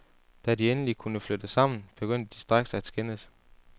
Da de endelig kunne flytte sammen, begyndte de straks at skændes.